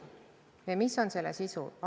Mis on selle eelnõu sisu?